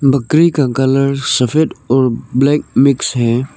बकरी का कलर सफेद और ब्लैक मिक्स है।